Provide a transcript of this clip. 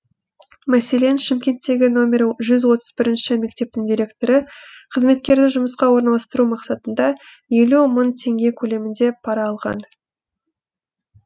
мәселен шымкенттегі нөмірі жүз отыз бірінші мектептің директоры қызметкерді жұмысқа орналстыру мақсатында елу мың теңге көлемінде пара алған